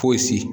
Fosi